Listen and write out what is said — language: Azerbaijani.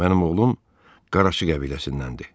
Mənim oğlum qaraçı qəbiləsindəndir.